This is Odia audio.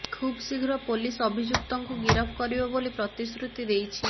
ଖୁବ୍ ଶୀଘ୍ର ପୋଲିସ ଅଭିଯୁକ୍ତଙ୍କୁ ଗିରଫ କରିବ ବୋଲି ପ୍ରତିଶ୍ରୁତି ଦେଇଛି